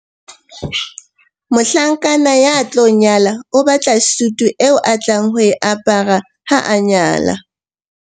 mohlankana ya tlo nyala o batla sutu eo a tlang ho e apara ha a nyala